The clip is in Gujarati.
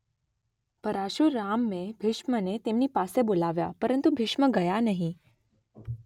પરશુરામે ભીષ્મને તેમની પાસે બોલાવ્યા પરંતુ ભીષ્મ ગયા નહીં